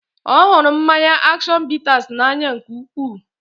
Ọ hụrụ mmanya action bitters n'anya nke ukwuu